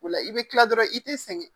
O la i bɛ kila dɔrɔn i tɛ sɛgɛn